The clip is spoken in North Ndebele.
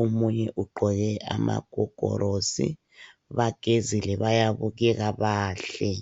Omunye ugqoke amagogorosi. Bagezile bayabukeka bahle.